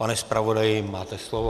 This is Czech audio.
Pane zpravodaji, máte slovo.